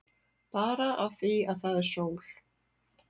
Bara af því að það er sól.